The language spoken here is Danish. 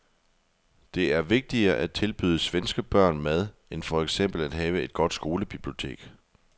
Det er vigtigere at tilbyde svenske børn mad end for eksempel at have et godt skolebibliotek.